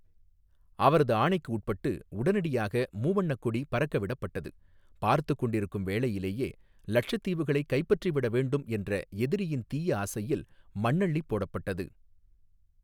அவரது ஆணைக்கு உட்பட்டு, உடனடியாக மூவண்ணக்கொடி பறக்க விடப்பட்டது, பார்த்துக் கொண்டிருக்கும் வேளையிலேயே, இலட்சத்தீவுகளைக் கைப்பற்றிவிட வேண்டும் என்ற எதிரியின் தீய ஆசையில் மண்ணள்ளிப் போடப்பட்டது.